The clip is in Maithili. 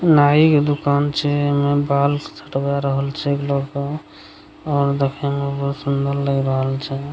नाइ के दुकान छै ओय मे बाल छटवा रहल छै लड़का और देखे में बहुत सुन्दर लग रहल छै।